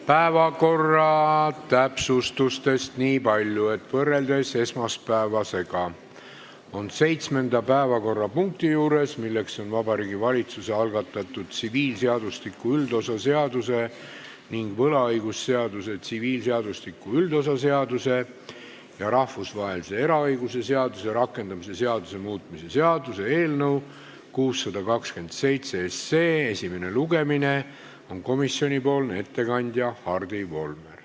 Päevakorra täpsustuseks nii palju, et võrreldes esmaspäevaga on seitsmenda päevakorrapunkti puhul, milleks on Vabariigi Valitsuse algatatud tsiviilseadustiku üldosa seaduse ning võlaõigusseaduse, tsiviilseadustiku üldosa seaduse ja rahvusvahelise eraõiguse seaduse rakendamise seaduse muutmise seaduse eelnõu 627 esimene lugemine, nüüd teada komisjonipoolne ettekandja, kelleks on Hardi Volmer.